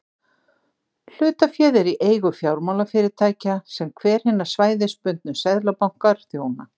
Hlutaféð er í eigu fjármálafyrirtækja sem hver hinna svæðisbundnu seðlabanka þjónar.